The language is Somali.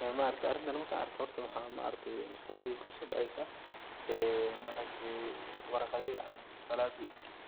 Arintan marka arko horta waxa maaragte maskaxdeydaa kusodeceysa ee warqadihi oo